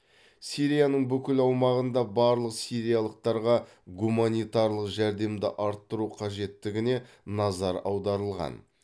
сирияның бүкіл аумағында барлық сириялықтарға гуманитарлық жәрдемді арттыру қажеттігіне назар аударылған